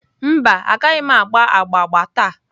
Mba, Agaghị m agba agba agba taa